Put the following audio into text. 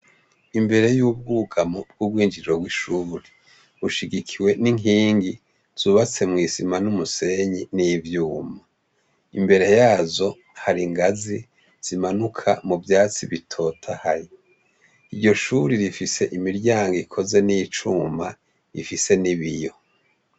Imbere y'ubwugamu bw'ubwinjiro bw'ishuri bushigikiwe n'inkingi zubatse mw'isima n'umusenyi n'ivyuma imbere yazo hari ingazi zimanuka mu vyatsi bitota hayi ivyo shuri bifise imiryango ikoze n'icuma ifise n'ibiyo.